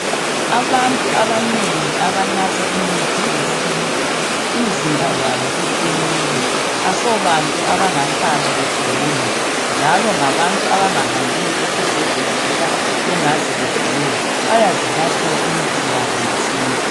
Abantu abanengi abanatha imithi yesintu, imzimba yabo iqinile. Asobantu abangahlala begula, njalo ngabantu abangahambiyo esibhedlela loba bengaze begule. Bayazinathela imithi yabo yesintu.